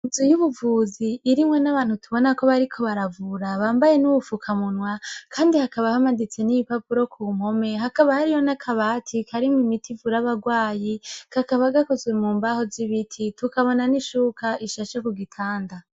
Inzu yubuvuzi irimwo abantu bariko baravura ,Bambaye nubufukamunwa Kandi haba hamanitse bipapuro ku mpome hakaba harimwo akabati karimwo imiti ivura abarwayi kakaba kamanitse mumbaho zibiti tukabona nishuka ishashe kugitanda.